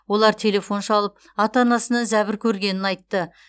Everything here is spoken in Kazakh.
олар телефон шалып ата анасынан зәбір көргенін айтты